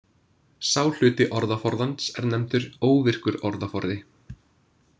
Sá hluti orðaforðans er nefndur óvirkur orðaforði.